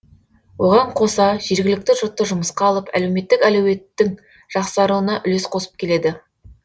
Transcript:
оған қоса жергілікті жұртты жұмысқа алып әлеуметтік әлеуеттің жақсаруына үлес қосып келеді